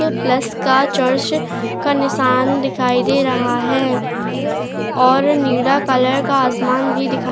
plus का church का निशान दिखाई दे रहा है और नीला कलर का आसमान भी दिखाई --